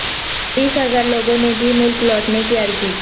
بیس ہزار لوگوں نے دی ملک لوٹنے کی عرضی